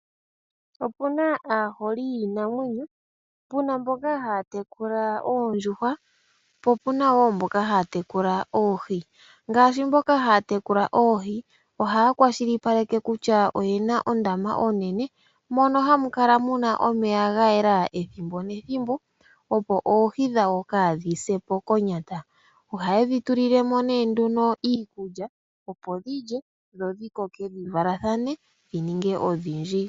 Opuna aaholi yiinamwenyo, puna mboka haya tekula oondjuhwa, po opuna mboka haya tekula oohi ngaashi mboka haya tekula oohi ohaya kwashilipaleke kutya oyena ondama oonene. Mono hamu kala muna omeya gayela pethimbo nethimbo , opo oohi dhawo kaadhi sepo konyata . Ohayedhi tulilemo nduno iikulya opo dhilye nodhikoke dhivalathane dhininge odhindji.